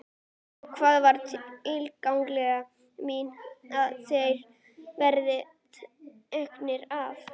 Og það er tillaga mín að þeir verði teknir af.